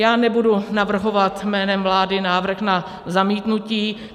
Já nebudu navrhovat jménem vlády návrh na zamítnutí.